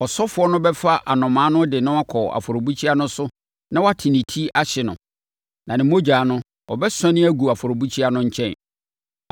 Ɔsɔfoɔ no bɛfa anomaa no de no akɔ afɔrebukyia no so na wate ne ti ahye no, na ne mogya no, ɔbɛsɔne agu afɔrebukyia no nkyɛn.